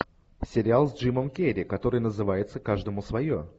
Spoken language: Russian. сериал с джимом керри который называется каждому свое